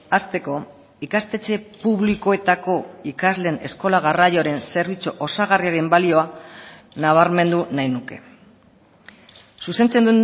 hasteko ikastetxe publikoetako ikasleen eskola garraioaren zerbitzu osagarriaren balioa nabarmendu nahi nuke zuzentzen